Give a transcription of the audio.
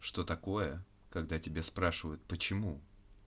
что такое когда тебя спрашивают почему